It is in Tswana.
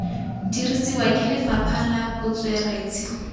dirisiwa ke lefapha la botsweretshi